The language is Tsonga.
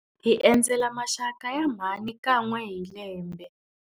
Hi endzela maxaka ya mhani kan'we hi lembe.